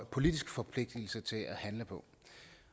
politisk forpligtigelse til at handle på